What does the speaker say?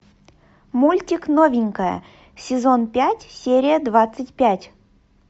мультик новенькая сезон пять серия двадцать пять